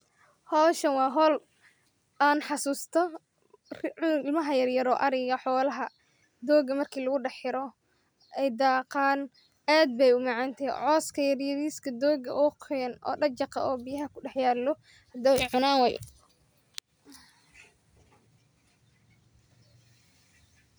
Howshan waa howl aan xasusto marki ilmaha yaryaro ariga xoolaha dooga marki lagudaxiro ay daaqaan aad bey u macantahy cooska yaryariska dooga oo qoyan oo dajjaqa oo biyaha ku daxyaalo oo dooga cunan waaye.